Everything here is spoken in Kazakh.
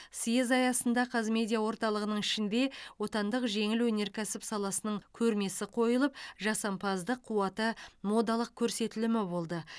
съезд аясында қазмедиа орталығының ішінде отандық жеңіл өнеркәсіп саласының көрмесі қойылып жасампаздық қуаты модалық көрсетілімі болды